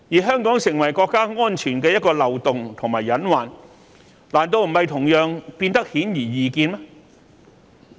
香港成為國家安全的一個漏洞和隱患，難道不是同樣變得顯而易見嗎？